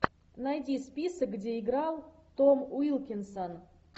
найди список где играл том уилкинсон